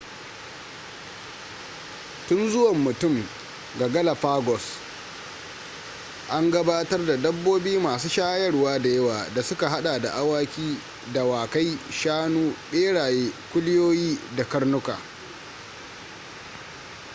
tun zuwan mutum ga galapagos an gabatar da dabbobi masu shayarwa da yawa da suka hada da awaki dawakai shanu beraye kuliyoyi da karnuka